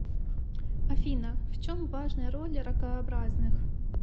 афина в чем важная роль ракообразных